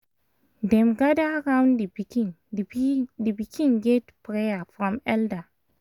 dem gather round the pikin the pi the pikin get prayer from elder